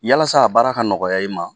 Yalasa a baara ka nɔgɔya i ma